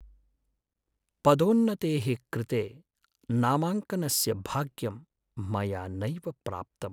पदोन्नतेः कृते नामाङ्कनस्य भाग्यं मया नैव प्राप्तम्।